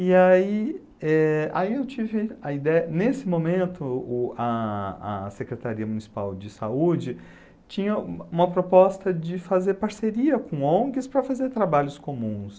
E aí eh, aí eu tive a ideia, nesse momento, o a a Secretaria Municipal de Saúde tinha uma uma proposta de fazer parceria com Ongs para fazer trabalhos comuns.